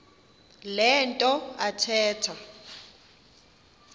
le nto athetha